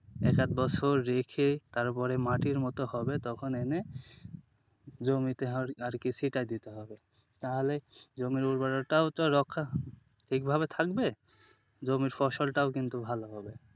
এটা তোর রেখে তারপরে মাটির মতো হবে তখন এনে জমিতে আরকি ছিটায় দিতে হবে তাহলে জমির উর্বরতাও তো রক্ষা ঠিক ভাবে থাকবে, জমির ফসলটাও কিন্তু ভালো হবে।